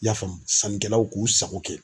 I y'a faamu sannikɛlaw k'u sago kɛ